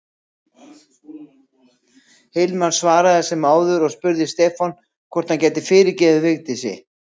Hilmar svaraði sem áður og þá spurði Stefán hvort hann gæti fyrirgefið Vigdísi.